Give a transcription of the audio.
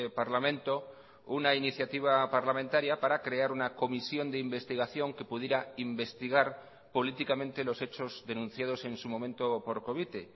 parlamento una iniciativa parlamentaria para crear una comisión de investigación que pudiera investigar políticamente los hechos denunciados en su momento por covite